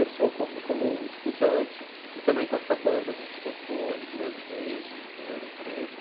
Pessoa como como estudante e também com essa banda, a gente tocou as duas vezes em Ouro Preto,